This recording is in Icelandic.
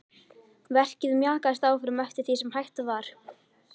Verkið mjakaðist áfram eftir því sem hægt var.